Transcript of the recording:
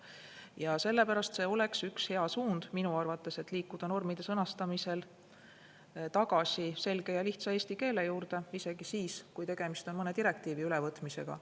Ja sellepärast oleks minu arvates hea suund liikuda normide sõnastamisel tagasi selge ja lihtsa eesti keele juurde, isegi siis, kui tegemist on mõne direktiivi ülevõtmisega.